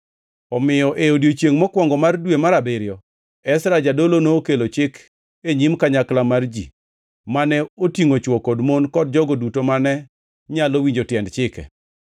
Omiyo e odiechiengʼ mokwongo mar dwe mar abiriyo, Ezra jadolo nokelo chik e nyim kanyakla mar ji, mane otingʼo chwo kod mon kod jogo duto mane nyalo winjo tiend chike.